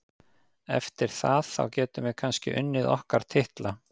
Eftir það, þá getum við kannski unnið okkar titla.